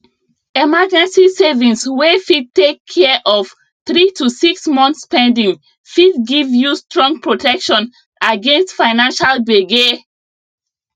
emergency savings wey fit take care of 3 to 6 months spending fit give you strong protection against financial gbege